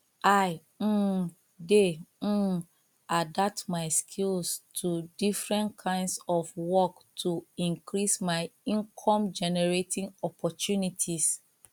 i um dey um adapt my skills to different kinds of work to increase my incomegenerating opportunities